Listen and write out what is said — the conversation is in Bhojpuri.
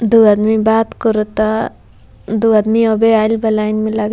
दू आदमी बात करता दू आदमी अबे आइल बा लाइन में लागे।